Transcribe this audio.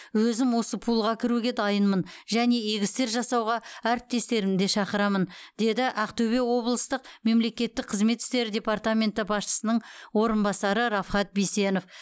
өзім осы пулға кіруге дайынмын және игі істер жасауға әріптестерімді де шақырамын деді ақтөбе облыстық мемлекеттік қызмет істері департаменті басшысының орынбасары рафхат бисенов